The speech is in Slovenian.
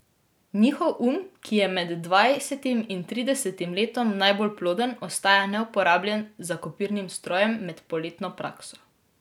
Njihov um, ki je med dvajsetim in tridesetim letom najbolj ploden, ostaja neuporabljen za kopirnim strojem med poletno prakso.